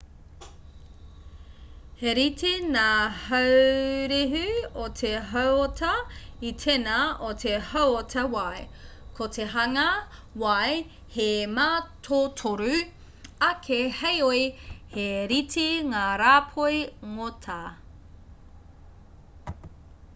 he rite ngā haurehu o te hauota i tēnā o te hauota wai ko te hanga wai he mātotoru ake heoi he rite ngā rāpoi ngota